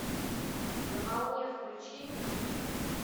на волне включи